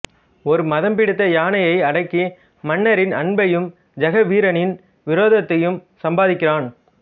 ஒரு மதம் பிடித்த யானையை அடக்கி மன்னரின் அன்பையும் ஜெகவீரனின் விரோதத்தையும் சம்பாதிக்கிறான்